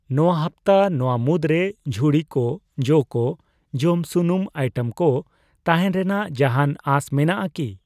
ᱱᱤᱭᱟᱹ ᱦᱟᱯᱛᱟ ᱱᱚᱣᱟ ᱢᱩᱫᱨᱮ ᱡᱷᱩᱲᱤ ᱠᱚ, ᱡᱚ ᱠᱚ, ᱡᱚᱢ ᱥᱩᱱᱩᱢ ᱟᱭᱴᱮᱢ ᱠᱚ ᱛᱟᱦᱮᱱ ᱨᱮᱱᱟᱜ ᱡᱟᱦᱟᱱ ᱟᱥ ᱢᱮᱱᱟᱜ ᱟᱠᱤ ?